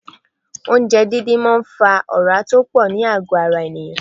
Oúnjẹ díndín máa ń fa ora tó pọ̀ ní àgọ ara ènìyàn.